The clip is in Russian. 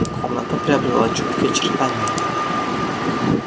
комната приобретала чёткие очертания